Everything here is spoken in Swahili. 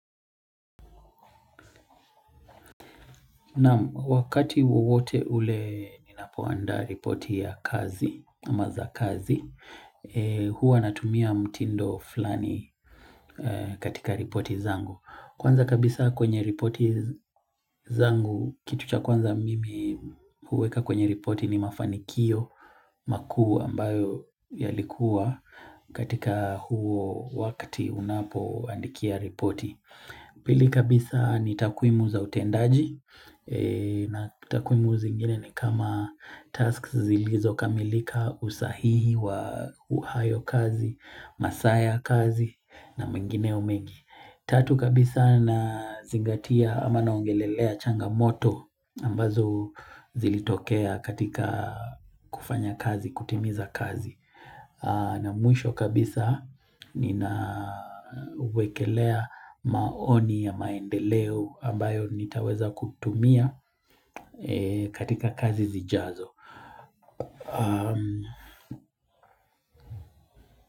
Na wakati wowote ule ninapoanda ripoti ya kazi, amaza kazi, huwa natumia mtindo flani katika ripoti zangu. Kwanza kabisa kwenye ripoti zangu, kitu cha kwanza mimi huweka kwenye ripoti ni mafanikio makuu ambayo yalikuwa katika huo wakati unapo andikia ripoti. Pili kabisa ni takwimu za utendaji na takwimu zingine ni kama tasks zilizo kamilika usahihi wa uhayo kazi, masaa kazi na mengineyo mengi. Tatu kabisa na zingatia ama naongelelea changamoto ambazo zilitokea katika kufanya kazi, kutimiza kazi. Na mwisho kabisa ninawekelea maoni ya maendeleo ambayo nitaweza kutumia katika kazi zijaazo.